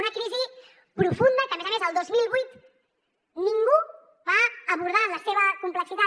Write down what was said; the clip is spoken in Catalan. una crisi profunda que a més a més el dos mil vuit ningú va abordar en la seva complexitat